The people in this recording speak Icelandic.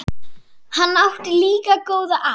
Hann átti líka góða að.